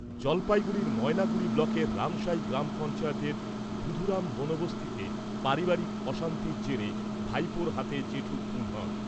জলপাইগুড়ির ময়নাগুড়ি ব্লকের রামশাই গ্রাম পঞ্চায়েতের বুধুরাম বনবস্তিতে পারিবারিক অশান্তির জেরে ভাইপোর হাতে জেঠু খুন হন।